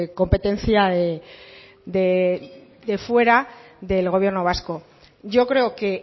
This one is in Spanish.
competencia de fuera del gobierno vasco yo creo que